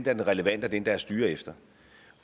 er den relevante at styre efter